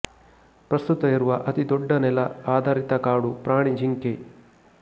ಪ್ರಸ್ತುತ ಇರುವ ಅತೀದೊಡ್ಡ ನೆಲ ಆಧಾರಿತ ಕಾಡು ಪ್ರಾಣಿ ಜಿಂಕೆ